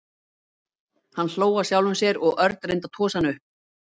Hann hló að sjálfum sér og Örn reyndi að tosa hann upp.